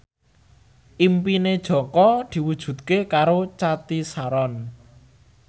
impine Jaka diwujudke karo Cathy Sharon